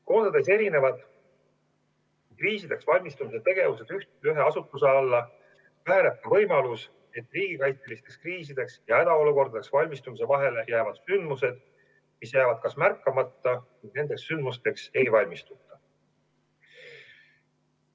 Koondades erinevad kriisideks valmistumise tegevused ühe asutuse alla, väheneb ka võimalus, et riigikaitselisteks kriisideks ja hädaolukordadeks valmistumise vahele jäävad sündmused, mis jäävad märkamata või nendeks sündmusteks ei valmistuta.